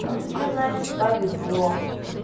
ну тебе значит повезло